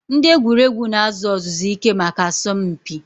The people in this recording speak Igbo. Ndị egwuregwu na-azụ ọzụzụ ike maka asọmpi.